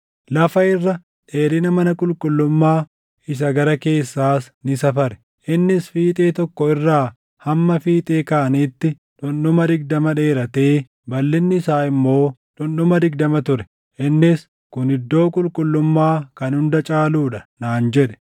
Lafa irra dheerina mana qulqullummaa isa gara keessaas ni safare; innis fiixee tokko irraa hamma fiixee kaaniitti dhundhuma digdama dheeratee balʼinni isaa immoo dhundhuma digdama ture. Innis, “Kun Iddoo Qulqullummaa kan Hunda Caaluu dha” naan jedhe.